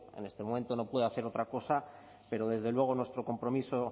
en este momento no puedo hacer otra cosa pero desde luego nuestro compromiso